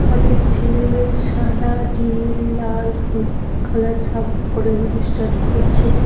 অনেক ছেলে মেয়ে সাদা নীল লাল হলুদ কালার জামা পরে অনুষ্ঠান করছে।